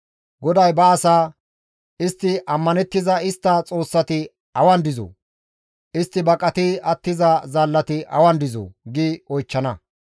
GODAY ba asaa, «Istti ammanettiza istta xoossati awan dizoo? Istti baqati attiza zaallati awan dizoo?» gi oychchana.